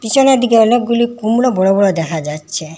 পিছনের দিকে অনেকগুলি কুমড়ো বড় বড় দেখা যাচ্ছে।